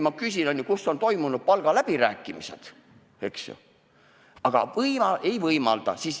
Kuid kus on toimunud palgaläbirääkimised?